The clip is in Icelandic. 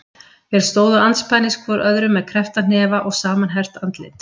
Þeir stóðu andspænis hvor öðrum með kreppta hnefa og samanherpt andlit.